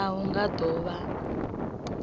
a hu nga do vha